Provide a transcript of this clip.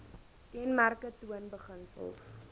kenmerke toon beginsels